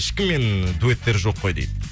ешкіммен дуэттері жоқ қой дейді